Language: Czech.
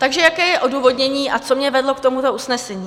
Takže jaké je odůvodnění a co mě vedlo k tomuto usnesení?